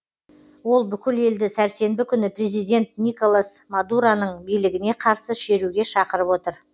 ол бүкіл елді сәрсенбі күні президент николас мадуроның билігіне қарсы шеруге шақырып отыр